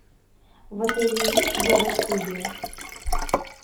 в отеле есть йога студия